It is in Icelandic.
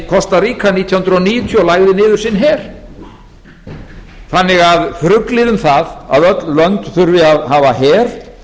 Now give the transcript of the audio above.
kosta ríga nítján hundruð níutíu og lagði niður sinn her þannig að þruglið um það að öll lönd þurfi að hafa her